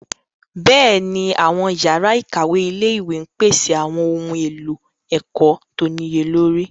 Bẹ́ẹ̀ni, àwọn yàrá ìkàwé ilé-ìwé ń pèsè àwọn ohun èlò ẹ̀kọ́ tó níye lórí.